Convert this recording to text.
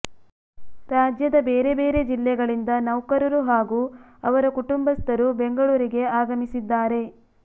ರಾಜ್ಯದ ಬೇರೆ ಬೇರೆ ಜಿಲ್ಲೆಗಳಿಂದ ನೌಕರರು ಹಾಗೂ ಅವರ ಕುಟುಂಬಸ್ಥರು ಬೆಂಗಳೂರಿಗೆ ಆಗಮಿಸಿದ್ದಾರೆ